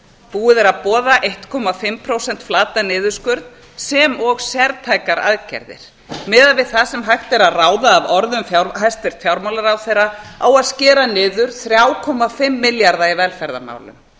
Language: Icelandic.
búið er að boða fimmtán prósent flatan niðurskurð sem og sértækar aðgerðir miðað við það sem hægt er að ráða af orðum hæstvirts fjármálaráðherra á að skera niður þrjátíu og fimm milljarða í velferðarmálum